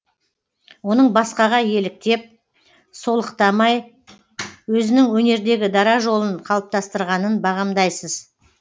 оның басқаға еліктеп солықтамай өзінің өнердегі дара жолын қалыптастырғанын бағамдайсыз